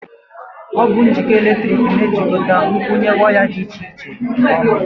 Ọ bụ njikọ eletrik na-ejikọta nkwụnye waya dị iche iche ọnụ.